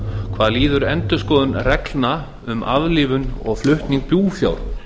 hvað líður endurskoðun reglna um aflífun og flutning búfjár